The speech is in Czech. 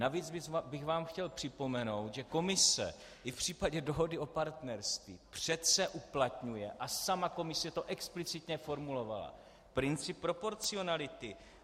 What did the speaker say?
Navíc bych vám chtěl připomenout, že Komise i v případě dohody o partnerství přece uplatňuje, a sama Komise to explicitně formulovala, princip proporcionality.